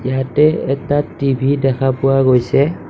ইয়াতে এটা টি_ভি দেখা পোৱা গৈছে।